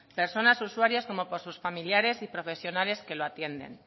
personas usuarias como por sus familiares y profesionales que lo atienden